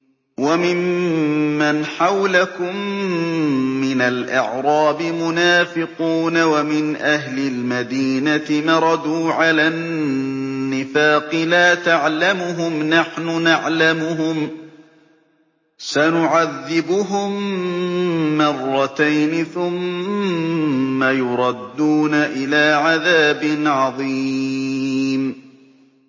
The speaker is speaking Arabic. وَمِمَّنْ حَوْلَكُم مِّنَ الْأَعْرَابِ مُنَافِقُونَ ۖ وَمِنْ أَهْلِ الْمَدِينَةِ ۖ مَرَدُوا عَلَى النِّفَاقِ لَا تَعْلَمُهُمْ ۖ نَحْنُ نَعْلَمُهُمْ ۚ سَنُعَذِّبُهُم مَّرَّتَيْنِ ثُمَّ يُرَدُّونَ إِلَىٰ عَذَابٍ عَظِيمٍ